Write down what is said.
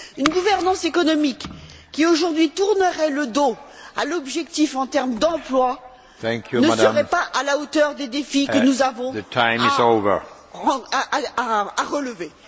Une gouvernance économique qui, aujourd'hui, tournerait le dos à l'objectif en termes d'emploi ne serait pas à la hauteur des défis que nous avons à relever.